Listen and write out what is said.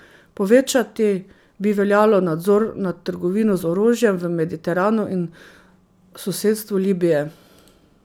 Povečati bi veljalo nadzor nad trgovino z orožjem v Mediteranu in sosedstvu Libije.